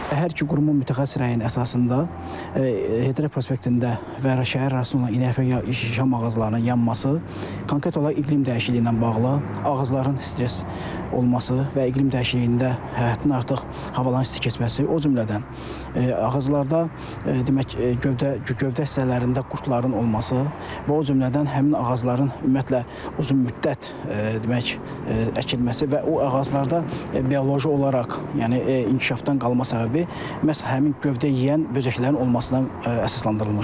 Hər iki qurumun mütəxəssis rəyinin əsasında, prospektində və şəhər ərazisində olan inək şam ağaclarının yanması konkret olaraq iqlim dəyişikliyi ilə bağlı, ağacların stress olması və iqlim dəyişikliyində həddindən artıq havaların isti keçməsi, o cümlədən ağaclarda demək, gövdə gövdə hissələrində qurdların olması və o cümlədən həmin ağacların ümumiyyətlə uzunmüddət demək, əkilməsi və o ağacda bioloji olaraq, yəni inkişafdan qalma səbəbi məhz həmin gövdə yeyən böcəklərin olmasına əsaslandırılmışdır.